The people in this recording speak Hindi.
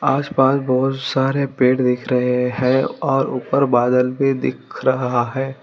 आस पास बहोत सारे पेड़ दिख रहे हैं और ऊपर बादल भी दिख रहा है।